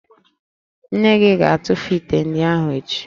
Nne gị ga-atụfu ite ndị ahụ echi